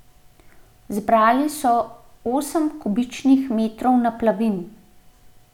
Zbrali so osem kubičnih metrov naplavin.